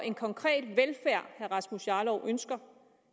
en konkret velfærd herre rasmus jarlov ønsker